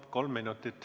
Kolm minutit.